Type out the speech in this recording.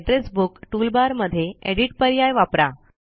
address book toolbar मध्ये edit पर्याय वापरा